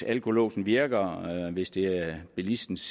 alkolåsen virker hvis det er bilistens